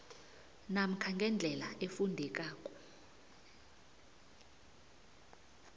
namkha ngendlela efundeka